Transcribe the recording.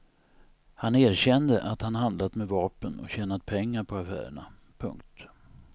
Han erkände att han handlat med vapen och tjänat pengar på affärerna. punkt